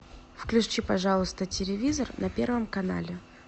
включи пожалуйста телевизор на первом канале